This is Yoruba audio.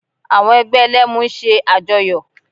Àwọn ẹgbẹ́ Ẹlẹ́mu ń ṣe àjọyọ̀